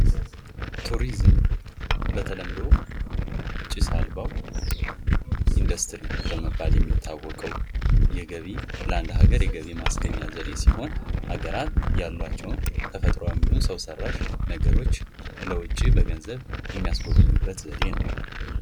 ቱሪዝም በተለምዶ ጭስ አልባዉ ኢንዱስትሪ በመባል የሚታወቀዉ ለአንድ አገር የገቢ ማስገኛ ዘዴ ሲሆን ሀገራት ያሏቸዉን ተፈጥሮም ይሁን ሰዉ ሰራሽ ለዉጭ ለጎብኝዎች የሚያስጎበኙበት ዘዴ ነዉ።